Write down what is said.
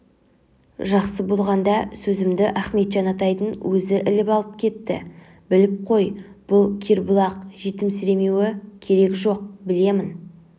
жақсы болғанда сөзімді ахметжан атайдын өзі іліп әкетті біліп қой бұл кербұлақ жетімсіремеуі керек жо-о-оқ білемін